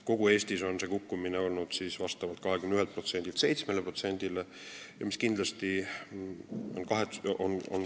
Kogu Eestis on olnud kukkumine 21%-lt 7%-le.